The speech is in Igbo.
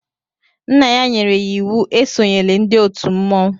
Nna ya nyere ya íwú e sonyela ndị òtù mmọnwụ